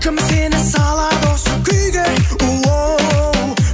кім сені салады осы күйге оу